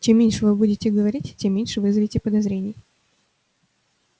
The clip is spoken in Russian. чем меньше вы будете говорить тем меньше вызовете подозрений